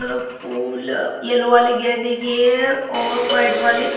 अ फूल येल्लो वाले गेंदे की है और व्हाइट वाले--